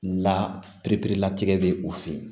La piripere latigɛ bɛ u fɛ yen